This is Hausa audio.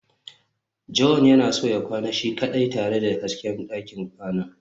john yana son ya kwana shi kaɗai tare da hasken ɗakin kwana